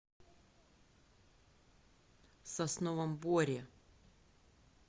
сосновом боре